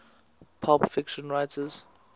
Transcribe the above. pulp fiction writers